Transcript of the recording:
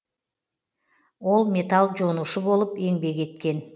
ол металл жонушы болып еңбек еткен